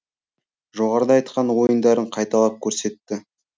жоғарыда айтқан ойындарын қайталап көрсетті